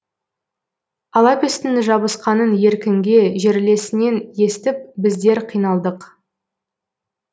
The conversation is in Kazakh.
алапестің жабысқанын еркінге жерлесінен естіп біздер қиналдық